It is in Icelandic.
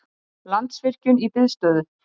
Landsvirkjun í biðstöðu